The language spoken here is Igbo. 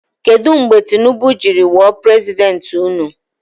Kedụ mgbe Tinibu jiri wụọ prezidenti ụnụ?